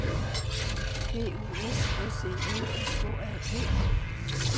B U S S E L S K A B